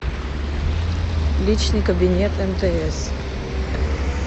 личный кабинет мтс